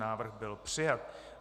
Návrh byl přijat.